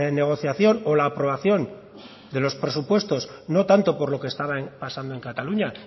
negociación o la aprobación de los presupuestos no tanto por lo que estaba pasando en cataluña